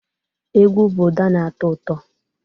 Egwu bụ ụda na-atọ ụtọ